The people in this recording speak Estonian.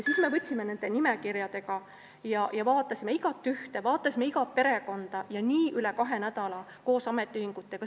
Siis me võtsime need nimekirjad ja vaatasime koos ametiühingutega iga töötajat, iga perekonda ja nii üle kahe nädala.